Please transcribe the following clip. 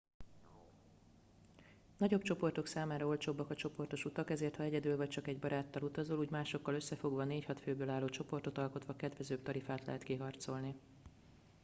nagyobb csoportok számára olcsóbbak a csoportos utak ezért ha egyedül vagy csak egy baráttal utazol úgy másokkal összefogva 4-6 főből álló csoportot alkotva kedvezőbb tarifát lehet kiharcolni